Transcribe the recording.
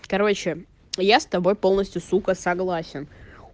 короче я с тобой полностью сука согласен